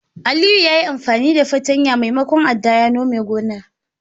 Aliyu yayi amfani da fartanya maimakon adda ya nome gonar.